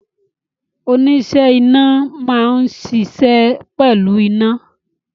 Oníṣẹ́ iná máa ń ṣiṣẹ́ pẹ̀lú iná